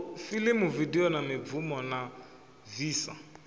filimu vidio na mibvumo nafvsa